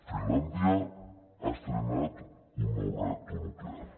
finlàndia ha estrenat un nou reactor nuclear